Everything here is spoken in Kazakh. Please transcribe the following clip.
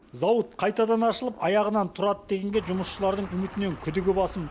зауыт қайтадан ашылып аяғынан тұрады дегенге жұмысшылардың үмітінен күдігі басым